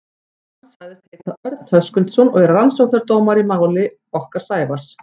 Hann sagðist heita Örn Höskuldsson og vera rannsóknardómari í máli okkar Sævars.